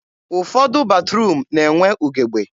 ụfọdụ batruum na-enwe ugebe.